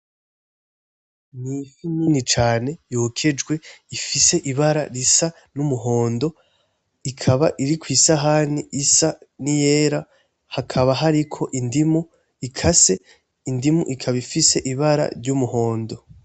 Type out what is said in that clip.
N'ifi nini cane yokejwe ifise ibara risa n'umuhondo ikaba iri kwisahani isa niyera hakaba hariko indimu ikase, indimu ikaba ifise ibara ry'umuhondo.